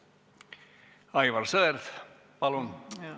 Aivar Sõerd, palun!